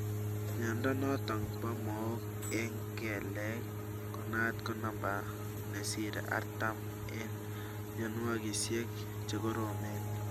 Mnyondo notok po mook eng kelek konaat ko namba nesire arttam eng mogonjwesiek chekoromen